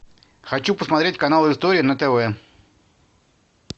хочу посмотреть канал история на тв